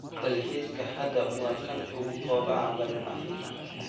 Dalxiiska hadda waa kan ugu kobaca badan Afrika.